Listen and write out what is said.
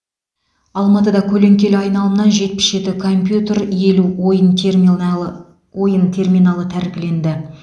алматыда көлеңкелі айналымнан жетпіс жеті компьютер елу ойын теминалы ойын терминалы тәркіленді